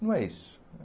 Não é isso.